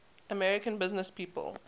american businesspeople